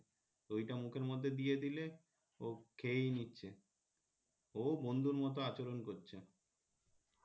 তো ওইটা মুখের মধ্যে দিয়ে দিলে ও খেয়েই নিচ্ছে ও বন্ধুর মত আচরন করছে